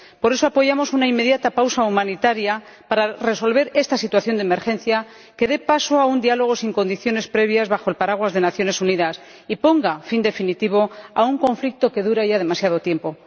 Por eso, apoyamos una inmediata pausa humanitaria para resolver esta situación de emergencia que dé paso a un diálogo, sin condiciones previas, bajo el paraguas de las Naciones Unidas y ponga fin definitivo a un conflicto que dura ya demasiado tiempo.